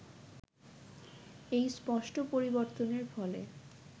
এই স্পষ্ট পরিবর্তনের ফলে